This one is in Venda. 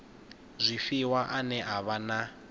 zwifhiwa ane a vha na